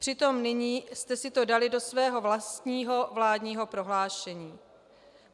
Přitom nyní jste si to dali do svého vlastního vládního prohlášení.